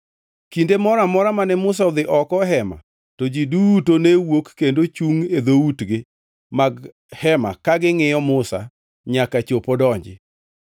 Kinde moro amora mane Musa odhi oko e Hema to ji duto ne wuok kendo chungʼ e dhoutgi mag hema ka gingʼiyo Musa nyaka chop odonji.